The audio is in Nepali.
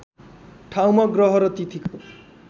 ठाउँमा ग्रह र तिथिको